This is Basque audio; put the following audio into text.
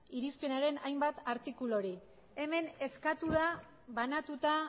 irizpenaren hainbat artikuluri hemen eskatu da banatuta